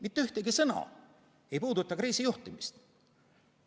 Mitte ükski sõna ei puuduta kriisijuhtimist.